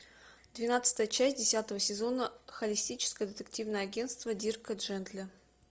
двенадцатая часть десятого сезона холистическое детективное агентство дирка джентли